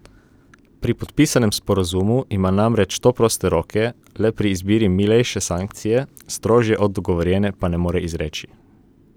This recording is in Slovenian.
Pri podpisanem sporazumu ima namreč to proste roke le pri izbiri milejše sankcije, strožje od dogovorjene pa ne more izreči.